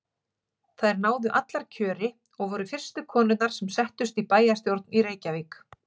Þær náðu allar kjöri og voru fyrstu konurnar sem settust í bæjarstjórn í Reykjavík.